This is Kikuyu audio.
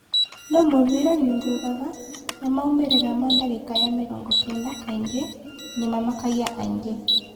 No mũbira nĩ ũrũgaga, na maumĩ rĩ ra ma dagĩ ka ya mĩ rongo kenda kaingĩ nĩ mamakagia aingĩ .